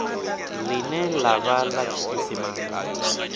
ḽine ḽa vha ḽa tshiisimane